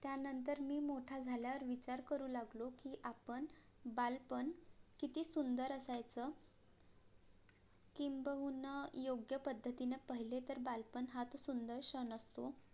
त्या नंतर मी मोठा झाल्या वर विचार करू लागलो कि, आपण बालपण किती सुंदर असायचं किंबहुना योग्य पद्धतीने पहिले तर बालपण हा सुंदर क्षण असतो